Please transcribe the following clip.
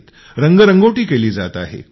त्याला रंगरंगोटी केली जात आहे